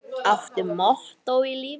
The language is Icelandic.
Áttu mottó í lífinu?